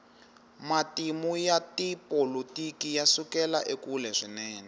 matimu ya tipolotiki yasukela ekule swinene